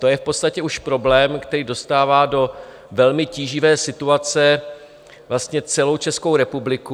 To je v podstatě už problém, který dostává do velmi tíživé situace vlastně celou Českou republiku.